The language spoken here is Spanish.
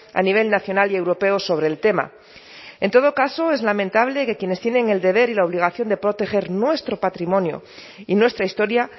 a nivel nacional y europeo sobre el tema en todo caso es lamentable que quienes tienen el deber y la obligación de proteger nuestro patrimonio y nuestra historia